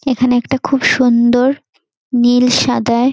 এখানে একটা খুব সুন্দর নীল সাদায়--